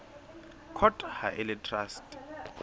court ha e le traste